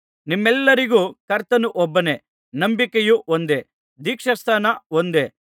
ನಿಮ್ಮೆಲ್ಲರಿಗೂ ಕರ್ತನು ಒಬ್ಬನೇ ನಂಬಿಕೆಯು ಒಂದೇ ದೀಕ್ಷಾಸ್ನಾನ ಒಂದೇ